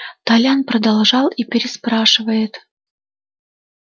толян подождал и переспрашивает